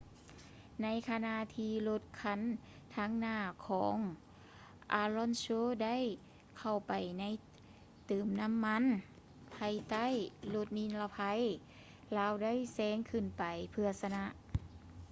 ໃນຂະນະທີ່ລົດຄັນທາງໜ້າຂອງ alonso ໄດ້ເຂົ້າໄປໃນເຕີມນໍ້າມັນພາຍໃຕ້ລົດນິລະໄພ ລາວໄດ້ແຊງຂຶ້ນໄປເພື່ອຊະນະ